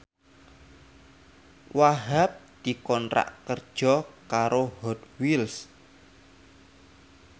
Wahhab dikontrak kerja karo Hot Wheels